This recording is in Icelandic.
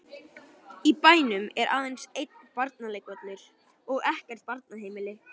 Í bænum er aðeins einn barnaleikvöllur og ekkert barnaheimili.